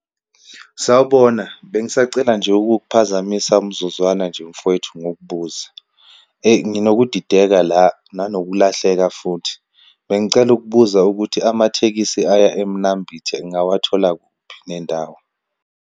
Sawubona, bengisacela nje ukukuphazamisa umzuzwana nje mfowethu ngukubuze. Eyi, nginokudideka la nanokulahleka futhi. Bengicela ukubuza ukuthi amathekisi aya Emnambithi ngingawathola kuphi nendawo.